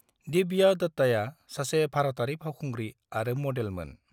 दिव्या दत्ताया सासे भारतारि फावखुंग्रि आरो मदेलमोन।